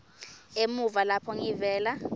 emuva lapho ngivela